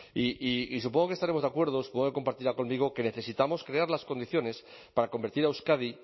y supongo que estaremos de acuerdo supongo que compartirá conmigo que necesitamos crear las condiciones para convertir a euskadi